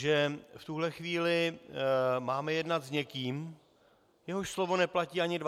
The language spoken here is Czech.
Že v tuto chvíli máme jednat s někým, jehož slovo neplatí ani 24 hodin.